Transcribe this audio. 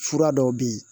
Fura dɔw bɛ yen